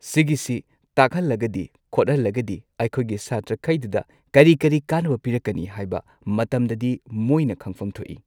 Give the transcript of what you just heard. ꯁꯤꯒꯤꯁꯤ ꯇꯥꯛꯍꯜꯂꯒꯗꯤ ꯈꯣꯠꯍꯜꯂꯒꯗꯤ ꯑꯩꯈꯣꯏꯒꯤ ꯁꯥꯇ꯭ꯔꯈꯩꯗꯨꯗ ꯀꯔꯤ ꯀꯔꯤ ꯀꯥꯟꯅꯕ ꯄꯤꯔꯛꯀꯅꯤ ꯍꯥꯏꯕ ꯃꯇꯝꯗꯗꯤ ꯃꯣꯏꯅ ꯈꯪꯐꯝ ꯊꯣꯛꯏ꯫